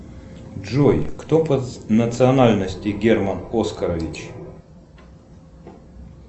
джой кто по национальности герман оскарович